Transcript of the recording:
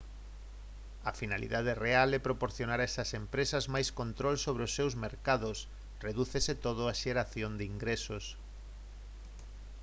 a finalidade real é proporcionar a esas empresas máis control sobre os seus mercados redúcese todo á xeración de ingresos